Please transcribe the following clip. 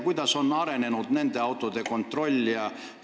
Kuidas on nende autode kontrollimisega?